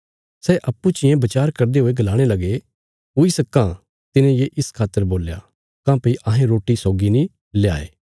सै अप्पूँ चियें बचार करदे हुये गलाणे लगे हुई सक्कां तिने ये इस खातर बोल्या काँह्भई अहें रोटी सौगी नीं ल्याये